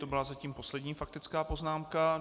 To byla zatím poslední faktická poznámka.